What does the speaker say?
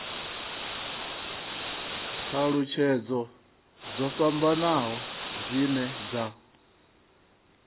thalutshedzo dzo fhambanaho dzine dza